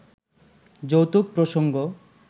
যৌতুক প্রসঙ্গ